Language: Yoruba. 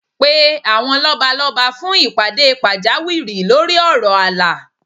Pe àwọn lọ́balọ́ba fún ìpàdé pàjáwìrì lórí ọ̀rọ̀ ààlà